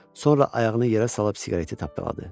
Sonra ayağını yerə salıb siqareti tapdaladı.